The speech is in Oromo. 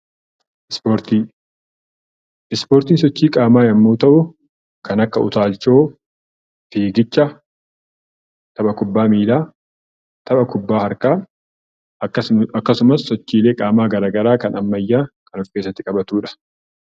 Ispoortii Ispoortiin sochii qaamaa yeroo ta'u, kan akka utaalchoo, fiigicha, tapha kubbaa miilaa, tapha kubbaa harkaa akkasumas sochiilee qaamaa garaagaraa kan ammayyaa kan of keessatti qabatudha.